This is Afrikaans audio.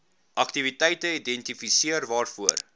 aktiwiteite identifiseer waarvoor